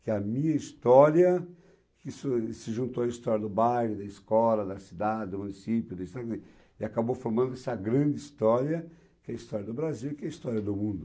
Que a minha história, que se juntou à história do bairro, da escola, da cidade, do município, e acabou formando essa grande história, que é a história do Brasil e que é a história do mundo.